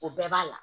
O bɛɛ b'a la